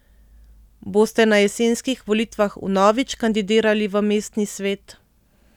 Boste na jesenskih volitvah vnovič kandidirali v mestni svet?